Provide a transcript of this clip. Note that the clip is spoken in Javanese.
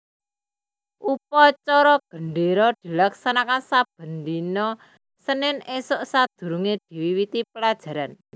Upacara gendéra dilaksanakaké saben dina Senin ésuk sadurungé diwiwiti pelajaran